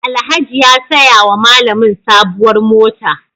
Alhaji ya saya wa malamin sabuwar mota.